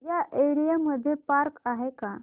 या एरिया मध्ये पार्क आहे का